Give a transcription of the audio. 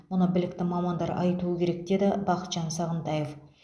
мұны білікті мамандар айтуы керек деді бақытжан сағынтаев